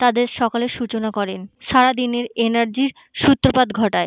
তাদের সকালের সূচনা করেন। সারাদিনের এনার্জি র সূত্রপাত ঘটায়।